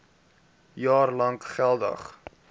jaar lank geldig